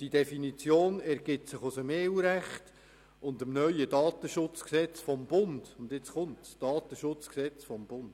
Die Definition ergibt sich aus dem EU-Recht und dem neuen Bundesgesetz über den Datenschutz (DSG), eben, dem Datenschutzgesetz des Bundes.